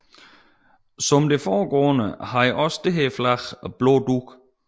Som det foregående havde også dette flag blå dug